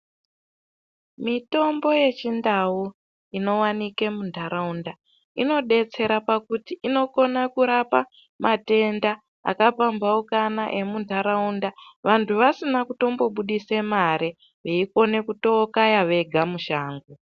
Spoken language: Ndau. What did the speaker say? Mitombo ye chindau ino wanike mu ndaraunda ino detsera pakuti inokona kurapa matenda aka pambaukana emu ndaraunda vantu vasina kutombo budise mari vei kone kuto kaya vega mu shango.